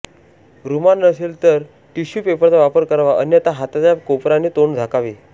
रुमाल नसेल तर टिश्यू पेपरचा वापर करावा अन्यथा हाताच्या कोपराने तोंड झाकावे